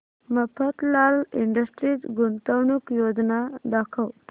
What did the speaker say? Mafatlal industries गुंतवणूक योजना दाखव